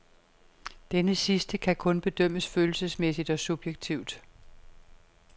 Denne sidste kan kun bedømmes følelsesmæssigt og subjektivt.